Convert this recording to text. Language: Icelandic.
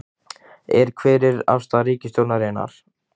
Er, hver er afstaða ríkisstjórnarinnar?